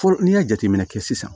Fɔlɔ n'i y'a jateminɛ kɛ sisan